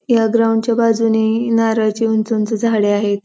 या ग्राऊंड च्या बाजूने नारळाची उंच उंच झाडे आहेत.